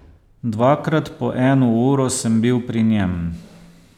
Dvakrat po eno uro sem bil pri njem.